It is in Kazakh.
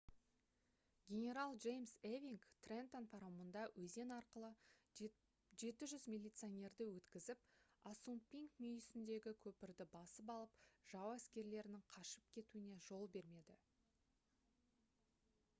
генерал джеймс эвинг «трентон» паромында өзен арқылы 700 милиционерді өткізіп ассунпинк мүйісіндегі көпірді басып алып жау әскерлерінің қашып кетуіне жол бермеді